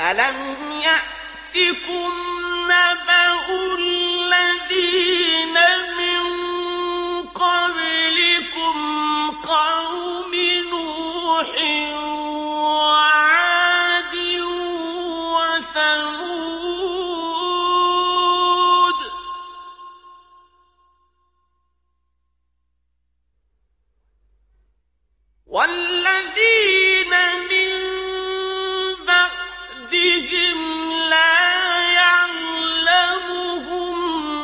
أَلَمْ يَأْتِكُمْ نَبَأُ الَّذِينَ مِن قَبْلِكُمْ قَوْمِ نُوحٍ وَعَادٍ وَثَمُودَ ۛ وَالَّذِينَ مِن بَعْدِهِمْ ۛ لَا يَعْلَمُهُمْ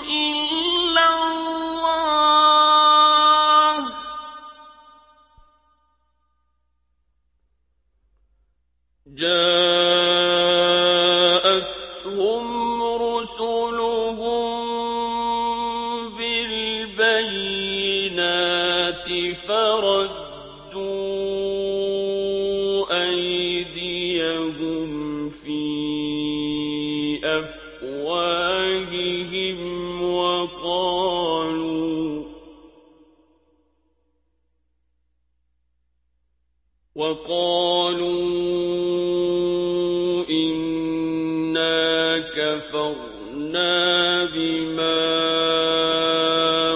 إِلَّا اللَّهُ ۚ جَاءَتْهُمْ رُسُلُهُم بِالْبَيِّنَاتِ فَرَدُّوا أَيْدِيَهُمْ فِي أَفْوَاهِهِمْ وَقَالُوا إِنَّا كَفَرْنَا بِمَا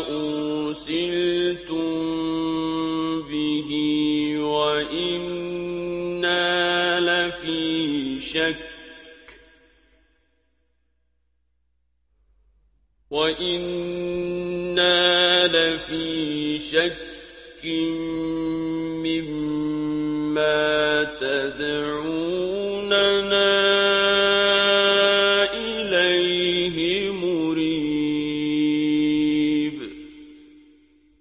أُرْسِلْتُم بِهِ وَإِنَّا لَفِي شَكٍّ مِّمَّا تَدْعُونَنَا إِلَيْهِ مُرِيبٍ